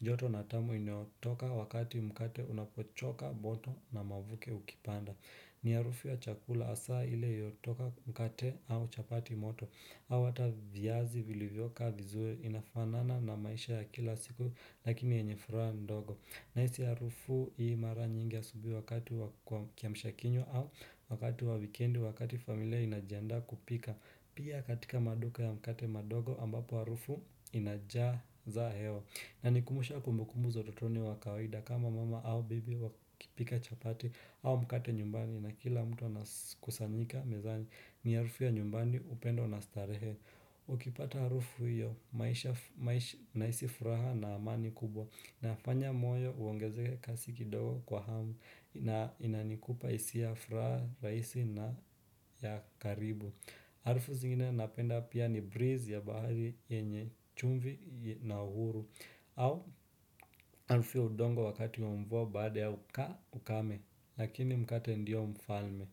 joto na tamu inayotoka wakati mkate unapochoka moto na mavuke ukipanda. Ni harufu ya chakula hasa iliyotoka mkate au chapati moto. Au ata vyazi vilivyokaa vizuri inafanana na maisha ya kila siku lakini yenye furaha ndogo. Nahisi harufu hii mara nyingi asubui wakati wa kiamshakinywa au wakati wa wikedi wakati familia inajiandaa kupika Pia katika maduka ya mkate madogo ambapo harufu inajaza hewa inanikumbusha kumbukumbu za utotoni wa kawaida kama mama au bibi wakipika chapati au mkate nyumbani na kila mtu anakusanyika mezani ni harufu ya nyumbani upendo na starehe Ukipata harufu hiyo nahisi furaha na amani kubwa inafanya moyo uongezee kasi kidogo kwa hamu na inanikupa hisia ya furaha rahisi na ya karibu Harufu zingine napenda pia ni breeze ya bahari yenye chumvi na uhuru au harufu ya udongo wakati wa mvua baada ya ukame Lakini mkate ndio mfalme.